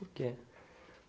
Por quê?